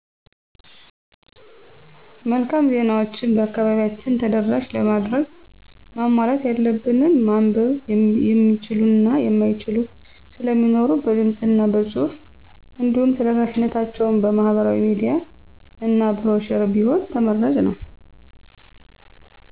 መልካም ዜናዎችን በአከባቢያችን ተደራሽ ለማድረግ ማሟላት ያለበት ማንበብ የሚችሉ እና የማይችሉ ስለሚኖሩ በድምፅ እና በፁሑፍ እንዲሁም ተደራሽነታቸውን በማህበራዊ ሚዲያ እና ብሮሸር ቢሆን ተመራጭ ነው።